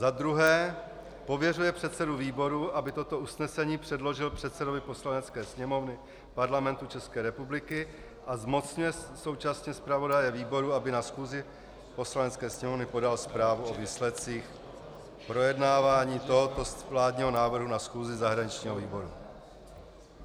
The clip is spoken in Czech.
Za druhé pověřuje předsedu výboru, aby toto usnesení předložil předsedovi Poslanecké sněmovny Parlamentu České republiky, a zmocňuje současně zpravodaje výboru, aby na schůzi Poslanecké sněmovny podal zprávu o výsledcích projednávání tohoto vládního návrhu na schůzi zahraničního výboru.